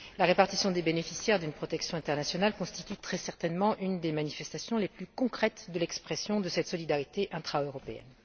La répartition des bénéficiaires d'une protection internationale entre les États constitue très certainement une des manifestations les plus concrètes de l'expression de cette solidarité intra européenne.